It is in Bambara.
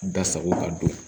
Da sago ka don